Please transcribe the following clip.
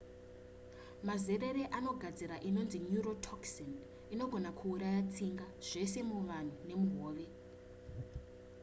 mazerere anogadzira inonzi neurotoxin inogona kuuraya tsinga zvese muvanhu nemuhove